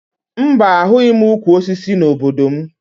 Mba, ahụghị m ukwu osisi n'obodo m